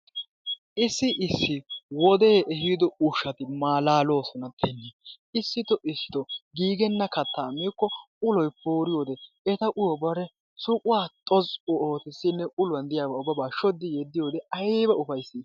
Issi issi wodee ehido ushshati maalaaloosona. Issitoo issitoo giigenna kattaa miikko uloy eta uyo bare suquwa xoz'u ootissinne uluwan diyabaa ubbabaa shoddi yeddiyode ayiba ufayissi!